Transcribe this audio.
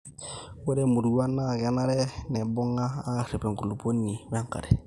ore emurua naa kenare neibung'a aarip enkulupuoni we enkare